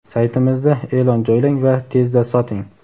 Saytimizda e’lon joylang va tezda soting!.